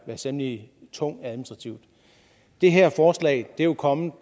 temmelig tung administrativt det her forslag er jo kommet